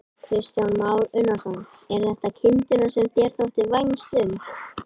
Kristján Már Unnarsson: Eru þetta kindurnar sem þér þótti vænst um?